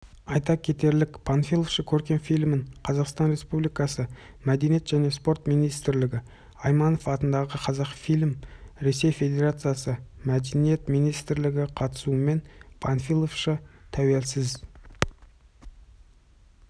айта кетейік панфиловшы көркем фильмін қазақстан республикасы мәдениет және спорт министрлігі айманов атындағы қазақфильм ресей федерациясы мәдениет министрлігі қатысуымен панфиловшы тәуелсіз